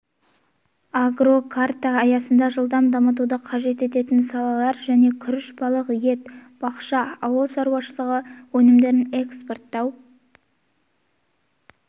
агрокарта аясында жылдам дамытуды қажет ететін салалар және күріш балық ет бақша ауыл шаруашылығы өнімдерін экспорттау